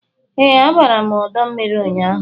Ee, abara m ọdọ mmiri ụnyaahụ